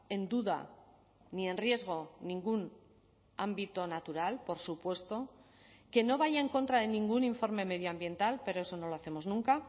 en duda ni en riesgo ningún ámbito natural por supuesto que no vaya en contra de ningún informe medioambiental pero eso no lo hacemos nunca